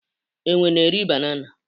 enwe na eri banana